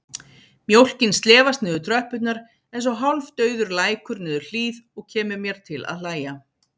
Mjólkin slefast niður tröppurnar einsog hálfdauður lækur niður hlíð og kemur mér til að hlæja.